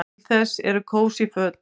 Til þess eru kósí föt.